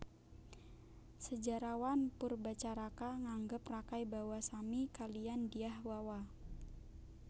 Sejarawan Poerbatjaraka nganggep Rakai Bawa sami kaliyan Dyah Wawa